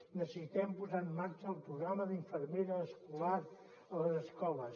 necessitem posar en marxa el programa d’infermera escolar a les escoles